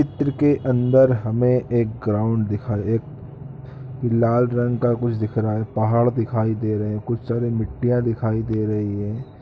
चित्र के अन्दर हमें एक ग्राउंड दिखा एक लाल रंग का कुछ दिख रहा है पहाड़ दिखाई दे रहें है कुछ सारे मिट्टियाँ दिखाई दे रही है।